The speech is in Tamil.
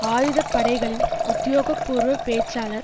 ஆயுத படைகளின் உத்தியோகபூர்வ பேச்சாளர்